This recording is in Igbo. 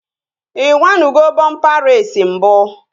Ị nyanugo bọmpa reesi mbụ?